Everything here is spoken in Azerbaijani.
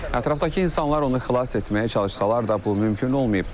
Ətrafdakı insanlar onu xilas etməyə çalışsalar da bu mümkün olmayıb.